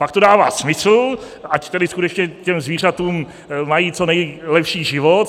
Pak to dává smysl, ať tedy skutečně ta zvířata mají co nejlepší život.